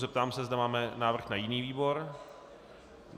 Zeptám se, zda máme návrh na jiný výbor.